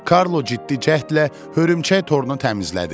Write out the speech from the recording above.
Karlo ciddi cəhdlə hörümçək torunu təmizlədi.